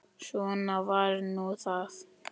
Svona var nú það.